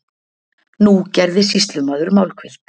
Nú gerði sýslumaður málhvíld.